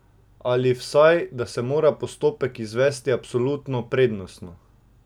Ali vsaj, da se mora postopek izvesti absolutno prednostno?